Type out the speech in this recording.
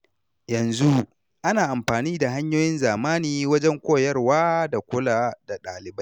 Yanzu, ana amfani da hanyoyin zamani wajen koyarwa da kula da ɗalibai.